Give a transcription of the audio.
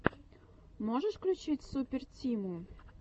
можешь включить супер тиму